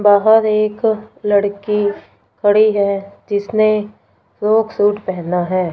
बाहर एक लड़की खड़ी है जिसने फ्रॉक सूट पहना है।